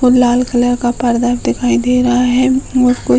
और लाल कलर का पर्दा भी दिखाई दे रहा है और कुछ --